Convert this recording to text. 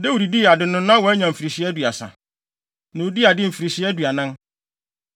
Dawid dii ade no, na wanya mfirihyia aduasa. Na odii ade mfirihyia aduanan.